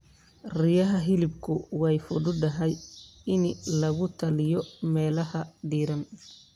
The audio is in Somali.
Riyaha hilibku way fududahay in lagu taliyo meelaha diiran.